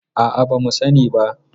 A'a, ba mu sani ba.